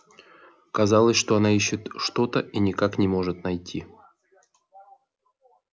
казалось она ищет что то и никак не может найти